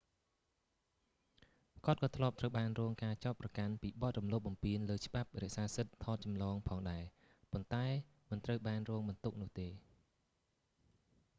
គាត់ក៏ធ្លាប់ត្រូវបានរងការចោទប្រកាន់ពីបទរំលោភបំពានលើច្បាប់រក្សាសិទ្ធិថតចម្លងផងដែរ ប៉ុន្តែមិនត្រូវបានរងបន្ទុកនោះទេ